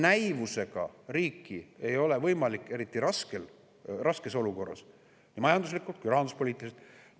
Näivusega ei ole võimalik riiki eriti nii majanduslikult kui ka rahanduspoliitiliselt raskes olukorras.